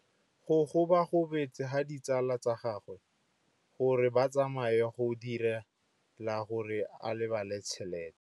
Go gobagobetsa ga ditsala tsa gagwe, gore ba tsamaye go dirile gore a lebale tšhelete.